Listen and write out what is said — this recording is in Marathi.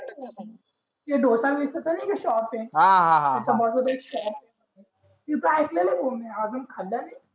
ते dosa misal चा नाय का shop आहे त्याच्या बाजूला एक shop आहे म्हणे तिथे ऐकलेलं भो मी अजून खाल नई